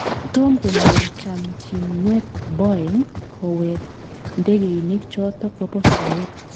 Tom konyor chamchinyet Boeng Koweek ndegeinik choto koba soet